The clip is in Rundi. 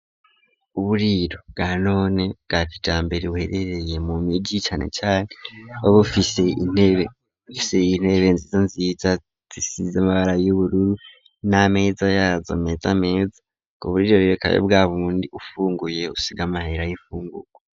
Uburiro bwa none bwa kijambere buherereye mu migiicane canke ba bufise intebe bufiseye intebe nziza nziza zisize amabara y'ubururu n'ameza yazo meta ameza ku burirorirekayo bwabundi ufunguye usiga amahera y'ifunguko.